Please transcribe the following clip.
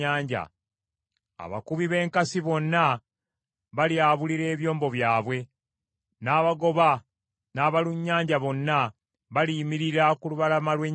Abakubi b’enkasi bonna balyabulira ebyombo byabwe; n’abagoba n’abalunnyanja bonna baliyimirira ku lubalama lw’ennyanja.